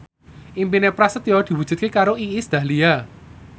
impine Prasetyo diwujudke karo Iis Dahlia